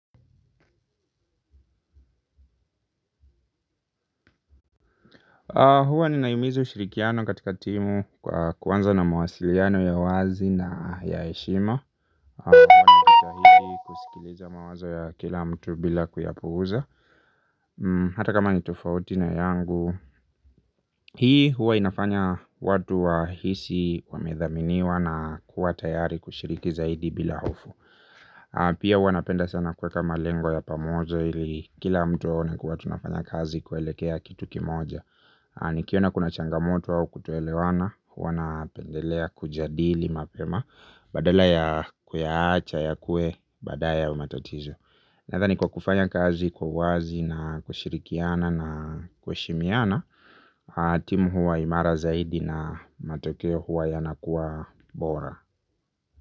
Huwa ninaimiza ushirikiano katika timu kwa kuanza na mawasiliano ya wazi na ya hshima. Huwa na jitahidi kusikiliza mawazo ya kila mtu bila kuyapuuza hata kama ni tofauti na yangu. Hii huwa inafanya watu wahisi wamedhaminiwa na kuwa tayari kushiriki zaidi bila hofu. Pia huwa napenda sana kuweka malengo ya pamoja ili kila mtu aone kuwa tunafanya kazi kuelekea kitu kimoja. Nikiona kuna changamoto au kutoelewana, huwa napendelea kujadili mapema badala ya kuyaacha, yakue, badaye au matatizo. Nathani kwa kufanya kazi, kwa uwazi na kushirikiana na kuheshimiana timu huwa imara zaidi na matokeo huwa yanakuwa bora.